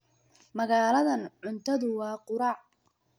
Magaaladan, cuntadu waa quraac.